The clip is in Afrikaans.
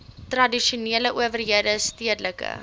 tradisionele owerhede stedelike